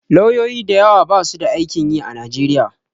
Lauyoyi da yawa basu da aikin yi a Nigeria.